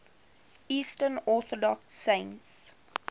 eastern orthodox saints